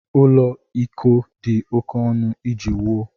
Ụlọ iko dị oké ọnụ iji wuo.